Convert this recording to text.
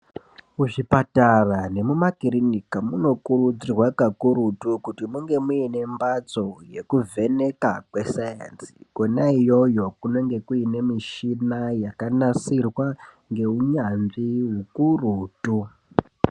Muzvipatara nemumakiriniki munokurudzirwa kakurutu kuti munger muine mbatso yekuvheneka kwesainzi kona iyoyo kunenga kuine michina yakanasirwa ngeunyanzvi ukurutu .